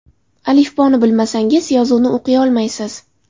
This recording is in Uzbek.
Alifboni bilmasangiz, yozuvni o‘qiyolmaysiz.